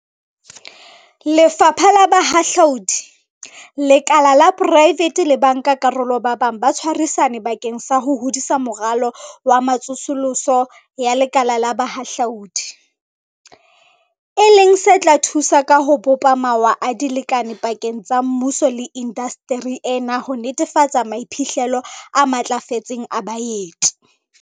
Lefapha la Bohahlaudi, lekala la poraefete le bankakarolo ba bang ba tshwarisane bakeng sa ho hodisa Moralo wa Tsosoloso ya Lekala la Bohahlaudi, e leng se tla thusa ka ho bopa mawa a dilekane pakeng tsa mmuso le indasteri ena ho netefatsa maiphihlelo a matlafetseng a baeti.